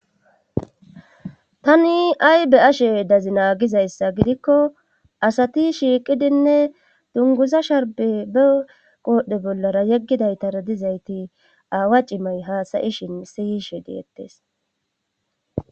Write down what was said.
tani ay be ashe dazi naagizayssa gidikko asati shiiqidinne dunguza sharbe be qoodhdhe bollara yeggidaytara dizayti aawa cimay haasayishin siyishe deettes